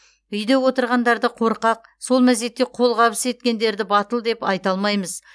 үйде отырғандарды қорқақ сол мезетте қолғабыс еткендерді батыл деп айта алмаймыз